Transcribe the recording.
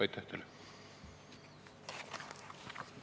Aitäh teile!